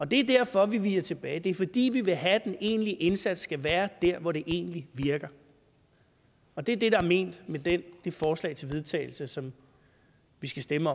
det er derfor vi viger tilbage for det det er fordi vi vil have at den egentlige indsats skal være der hvor det egentlig virker og det er det der er ment med det forslag til vedtagelse som vi skal stemme